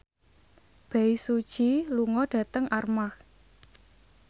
Bae Su Ji lunga dhateng Armargh